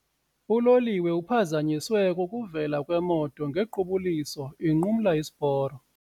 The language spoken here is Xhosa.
Uloliwe uphazanyiswe kukuvela kwemoto ngequbuliso inqumla isiporo.